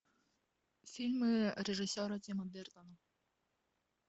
фильмы режиссера тима бертона